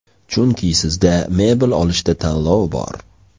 Chunki sizda mebel olishda tanlov bor.